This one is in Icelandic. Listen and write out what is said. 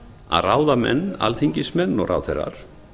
að ráðamenn alþingismenn og ráðherrar